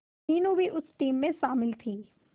मीनू भी उस टीम में शामिल थी